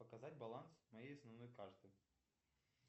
показать баланс моей основной карты